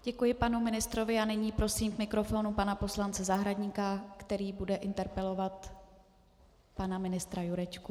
Děkuji panu ministrovi a nyní prosím k mikrofonu pana poslance Zahradníka, který bude interpelovat pana ministra Jurečku.